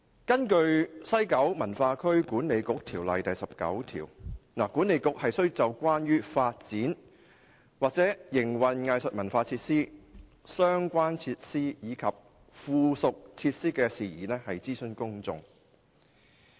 根據《西九文化區管理局條例》第19條，西九文化區管理局須就關於發展或營運藝術文化設施、相關設施及附屬設施的事宜諮詢公眾。